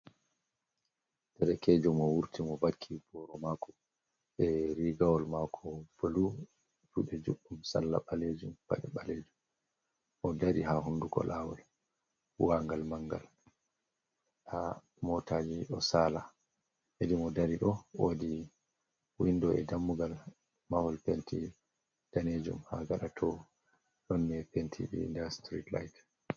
Derkejo mo wurti mo vakki boro mako be rigawol mako blu fude juɗɗum sarla ɓalejum paɗe ɓalejum mo dari ha hundugo lawol bu'angal mangal ha motaji ɗo sala hedi mo dari ɗo wodi windo e dammugal mahol penti danejum ha gaɗa to ɗon ɓe penti. Nda strit lait.